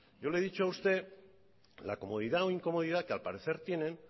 yo le he dicho a usted la comodidad o incomodidad que al parecer tienen